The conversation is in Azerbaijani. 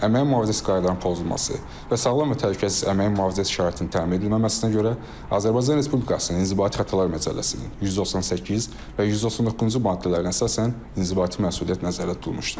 Əməyin mühafizəsi qaydalarının pozulması və sağlam və təhlükəsiz əməyin mühafizəsi şəraitinin təmin edilməməsinə görə Azərbaycan Respublikasının İnzibati Xətalar Məcəlləsinin 198 və 199-cu maddələrinə əsasən inzibati məsuliyyət nəzərdə tutulmuşdur.